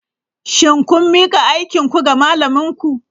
Shin kun mika aikinku ga malaminku?